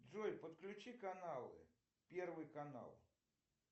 джой подключи каналы первый канал